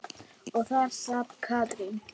Og þar sat Katrín.